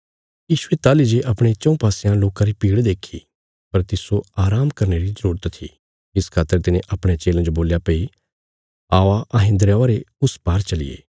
यीशुये ताहली जे अपणे चऊँ पासयां लोकां री भीड़ देक्खी पर तिस्सो आराम करने री जरूरत थी इस खातर तिने अपणयां चेलयां जो बोल्या भई आओ अहें दरयावा रे उस पार चलिये